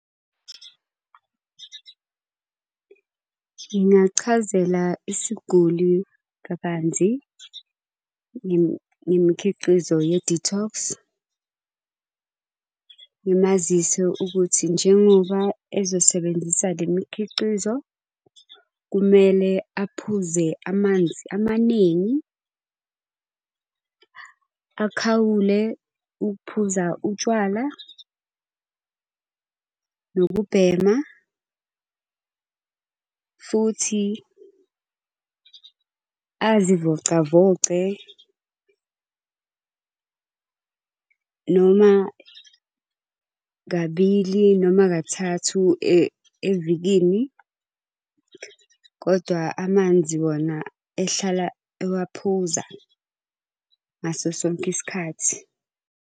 Ngingachazela isiguli kabanzi ngemikhiqizo ye-detox. Ngimazise ukuthi njengoba ezosebenzisa le mikhiqizo, kumele aphuze amanzi amaningi. Akhawule ukuphuza utshwala, nokubhema, futhi azivocavoce noma kabili noma kathathu evikini. Kodwa amanzi wona ehlala ewaphuza ngaso sonke isikhathi.